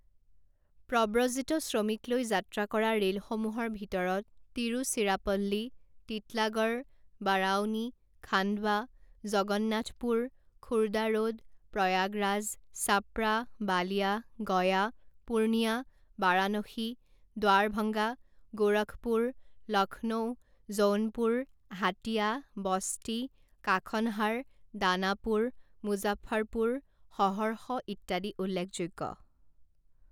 প্ৰব্ৰজিত শ্ৰমিক লৈ যাত্ৰা কৰা ৰে’লসমূহৰ ভিতৰত তিৰুচিৰাপল্লী, তিতলাগড়, বাৰাউনী, খাণ্ডবা, জগন্নাথপুৰ, খুৰদাৰোড, প্ৰয়াগৰাজ, চাপ্ৰা, বালিয়া, গয়া, পুৰ্নিয়া, বাৰাণসী, দ্বাৰভাংগা, গোৰখপুৰ, লক্ষ্ণৌ, জৌনপুৰ, হাতিয়া, বস্তি, কাখনহাৰ, দানাপুৰ, মুজাফ্ফৰপুৰ, সহৰ্ষ ইত্যাদি উল্লেখযোগ্য।